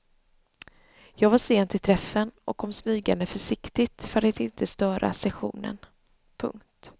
Jag var sen till träffen och kom smygande försiktigt för att inte störa sessionen. punkt